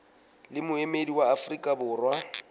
le moemedi wa afrika borwa